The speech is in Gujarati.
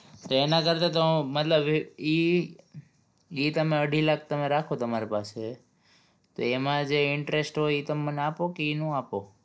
તો એના કરતા તો મતલબ ઈ ઈ ઈ તમે અઢી લાખ રાખો તમારી પાસે તે એમાં જે interest હોય ઈ તમે મને આપો કે ઈ નો આપો